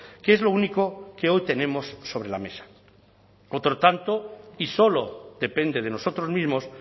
que es lo único que hoy tenemos sobre la mesa otro tanto y solo depende de nosotros mismos